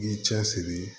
I b'i cɛsiri